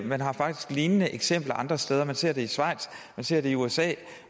man har faktisk lignende eksempler andre steder man ser det i schweiz man ser det i usa